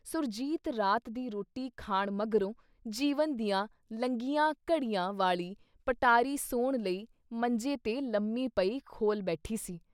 ਸੁਰਜੀਤ ਰਾਤ ਦੀ ਰੋਟੀ ਖਾਣ ਮਗਰੋਂ ਜੀਵਨ ਦੀਆਂ ਲੰਘੀਆਂ ਘੜੀਆਂ ਵਾਲੀ ਪਟਾਰੀ ਸੌਣ ਲਈ ਮੰਜੇ 'ਤੇ ਲੰਮੀ ਪਈ, ਖੋਲ੍ਹ ਬੈਠੀ ਸੀ।